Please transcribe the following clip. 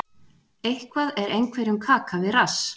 Eitthvað er einhverjum kaka við rass